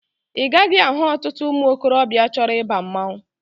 Ị gaghị ahụ ọtụtụ ụmụ okorobịa chọrọ ịba mmanwụ